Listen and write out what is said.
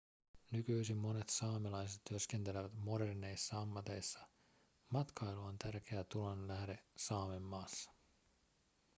nykyisin monet saamelaiset työskentelevät moderneissa ammateissa matkailu on tärkeä tulonlähde saamenmaassa